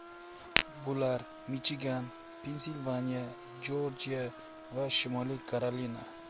Bular Michigan, Pensilvaniya, Jorjiya va Shimoliy Karolina.